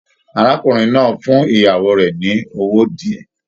Arákùnrin náà fún ìyàwó rẹ ní owó diẹ.